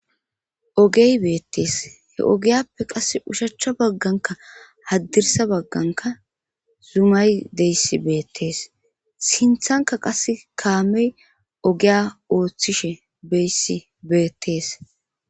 Ogey beettees he ogiyappe qasse ushachcha bagganka haddirsa bagganka zumay deyssi beettees sinthanka qasse kaamey ogiya ooththishe beyssi beettees.